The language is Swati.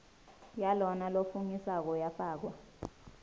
yalona lofungisako yafakwa